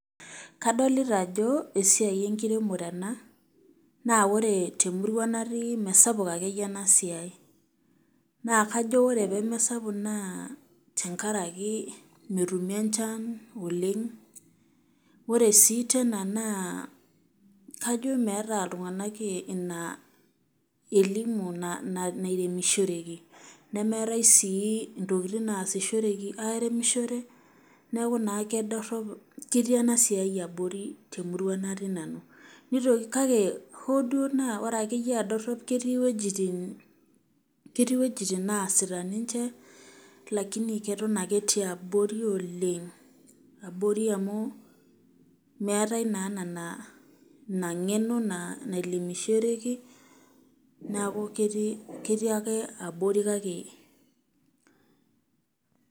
Kadlta ajo esiai enkiremore ena n ore temurua natii mesapuk akeyie enasiai nakajo ore pamasapuk na tenkaraki nemetumi enchan oleng, ore si tena na kajo meeta ltunganak ina elimu nairemishoreki nemeetai si ntokitin naasishoreki aremishore neaku naa kedorop ketii enasiai abori temurua natii nanu ,nitoki kake ore dua ake ata naa doropi ketii wuejitin naasita ketii abori Oleng abori amu meetai naa inangeno nairemishoreki neaku ketii ake abori kake .